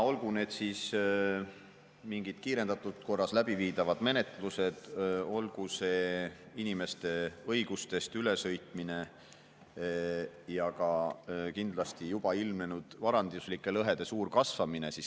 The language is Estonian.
Olgu need siis mingid kiirendatud korras läbiviidavad menetlused, olgu see inimeste õigustest ülesõitmine ja ka kindlasti juba ilmnenud varanduslike lõhede suur kasvamine.